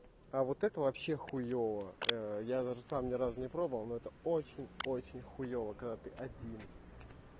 а вот это вообще хуёво я даже сам ни разу не пробовал но это очень очень хуёво когда ты один